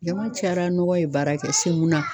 Jama cayara nɔgɔ ye baarakɛ passe mun na